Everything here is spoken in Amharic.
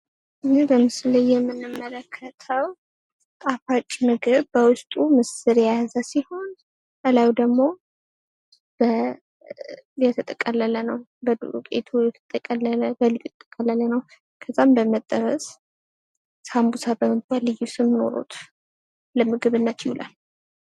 ይህ በምስሉ ላይ የምንመለከተው ጣፋጭ ምግብ በዉስጡ ምስር የያዘ ሲሆን ላዩ ደግሞ የተጠቀለለ ነው። ወይም የተጠቀለለ ከዛም በመጠበስ ሳንቡሳ በመባል የሚታወቅ ለምግብነት ይዉላል።